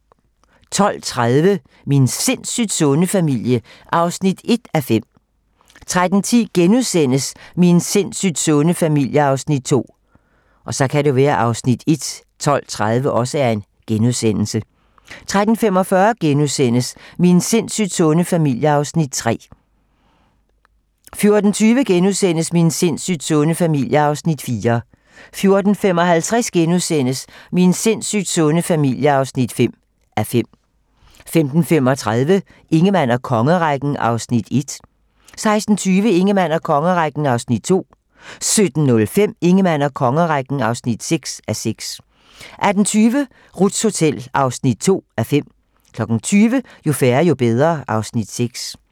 12:30: Min sindssygt sunde familie (1:5) 13:10: Min sindssygt sunde familie (2:5)* 13:45: Min sindssygt sunde familie (3:5)* 14:20: Min sindssygt sunde familie (4:5)* 14:55: Min sindssygt sunde familie (5:5)* 15:35: Ingemann og kongerækken (1:6) 16:20: Ingemann og kongerækken (2:6) 17:05: Ingemann og kongerækken (3:6) 18:20: Ruths Hotel (2:5) 20:00: Jo færre, jo bedre (Afs. 6)